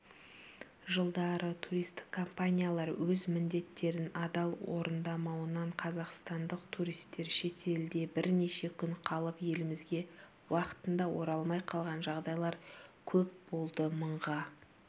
жылдары туристік компаниялар өз міндеттерін адал орындамауынан қазақстандық туристер шетелде бірнеше күн қалып елімізге уақытында оралмай қалған жағдайлар көп болды мыңға